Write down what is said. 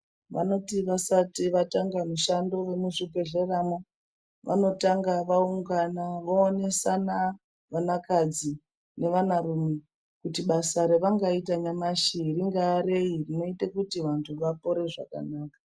Vanoti vasati vatanga mushando vemuzvibhedhleramwo vanotanga vaungana voonesana vanakadzi nevanarume. Kuti basa ravangaita nyamashi ringava rei rinoita kuti vantu vapore zvakanaka.